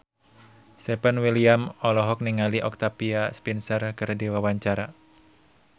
Stefan William olohok ningali Octavia Spencer keur diwawancara